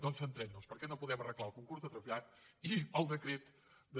doncs centrem nos perquè no podem arreglar el concurs de trasllat i el decret de